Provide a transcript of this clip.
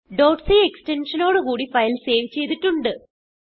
c extension നോട് കൂടി file save ചെയ്തിട്ടുണ്ട്